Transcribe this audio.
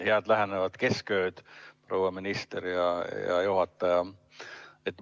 Head lähenevat keskööd, proua minister ja hea juhataja!